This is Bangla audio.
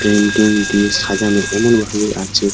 পেইন্টিং দিয়ে সাজানো এবং ভালো লাগছে।